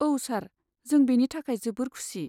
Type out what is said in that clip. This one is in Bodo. औ सार, जों बेनि थाखाय जोबोर खुसि।